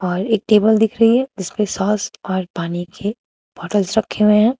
और एक टेबल दिख रही है जिसपे सॉस और पानी के बॉटल्स रखे हुए हैं।